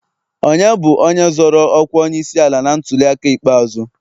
Onye bụ onye zọro ọkwa onyeisiala na ntuliaka ikpeazụ?